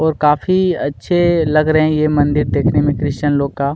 और काफी अछे लग रहे है ये मंदिर देखने में क्रिशचन लोग का--